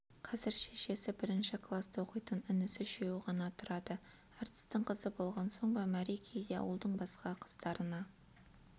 қазір шешесі бірінші класта оқитын інісі үшеуі ғана тұрады әртістің қызы болған соң ба мәри кейде ауылдың басқа қыздарына